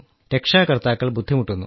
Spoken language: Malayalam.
രക്ഷാകർത്താക്കൾ ബുദ്ധിമുട്ടുന്നു